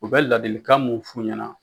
U bɛ ladilikan mun f'u ɲɛna